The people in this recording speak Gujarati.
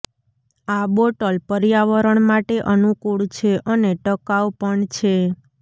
આ બોટલ પર્યાવરણ માટે અનુકુળ છે અને ટકાઉ પણ છે